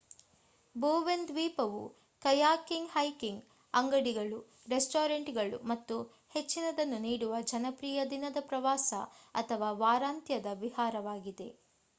Bowen ದ್ವೀಪವು kayaking hiking ಅಂಗಡಿಗಳು ರೆಸ್ಟೋರೆಂಟ್‌ಗಳು ಮತ್ತು ಹೆಚ್ಚಿನದನ್ನು ನೀಡುವ ಜನಪ್ರಿಯ ದಿನದ ಪ್ರವಾಸ ಅಥವಾ ವಾರಾಂತ್ಯದ ವಿಹಾರವಾಗಿದೆ